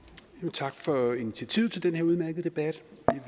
tak for initiativet til den her udmærkede debat